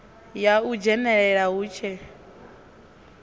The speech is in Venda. ya u dzhenelela hu tshe